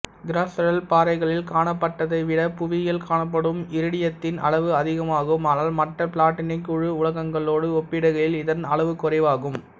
crustal பாறைகளில் காணப்பட்டதைவிட புவியில் காணப்படும் இரிடியத்தின் அளவு அதிகமாகும் ஆனால் மற்ற பிளாட்டினக்குழு உலோகங்களோடு ஒப்பிடுகையில் இதன் அளவுகுறைவாகும்